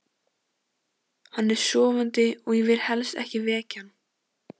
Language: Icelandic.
Hann er sofandi og ég vil helst ekki vekja hann.